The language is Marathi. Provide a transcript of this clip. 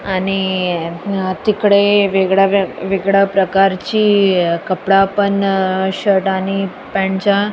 आणि आ तिकडे वेगळ्या वेगळ्या प्रकार ची कपडा पण शर्ट आणि पँट च्या --